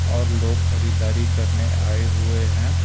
और लोग खरीदारी करने आए हुए हैं।